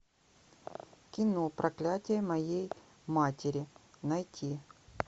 кино проклятие моей матери найти